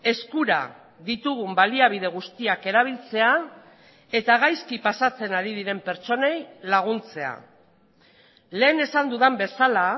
eskura ditugun baliabide guztiak erabiltzea eta gaizki pasatzen ari diren pertsonei laguntzea lehen esan dudan bezala